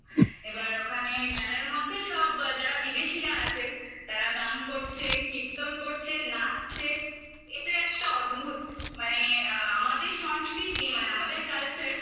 এবার ওখানে মেলার মধ্যে সব যারা বিদেশীরা আছে তারা গান করছে কীর্তন করছে নাচছে এটা একটা অদ্ভুত মানে আ আমাদের সংস্কৃতি মানে আমাদের culture